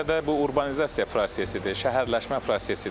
İlk növbədə bu urbanizasiya prosesidir, şəhərləşmə prosesidir.